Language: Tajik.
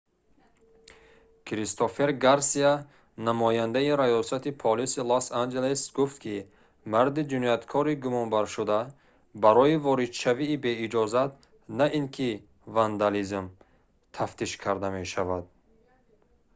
кристофер гарсия намояндаи раёсати полиси лос-анҷелес гуфт ки марди ҷинояткори гумонбаршуда барои воридшавии беиҷозат на ин ки вандализм тафтиш карда мешавад